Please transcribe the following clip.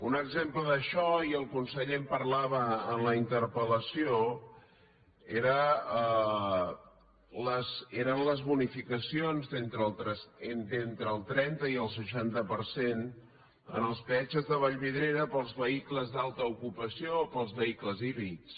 un exemple d’això i el conseller en parlava en la interpel·lació eren les bonificacions d’entre el trenta i el seixanta per cent en els peatges de vallvidrera per als vehicles d’alta ocupació per als vehicles híbrids